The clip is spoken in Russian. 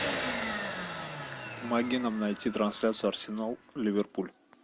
помоги нам найти трансляцию арсенал ливерпуль